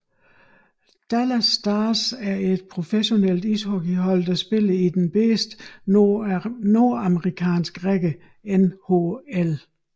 Dallas Stars er et professionelt ishockeyhold der spiller i den bedste nordamerikanske række NHL